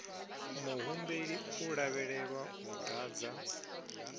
muhumbeli u lavhelelwa u ḓadza